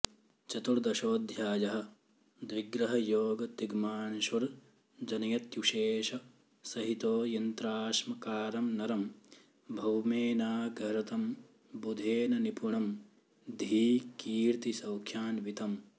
चतुर्दशोऽध्यायः द्विग्रहयोग तिग्मांशुर्जनयत्युषेश सहितो यन्त्राश्म कारं नरं भौमेनाघरतं बुधेन निपुणं धी कीर्ति सौख्यान्वितम्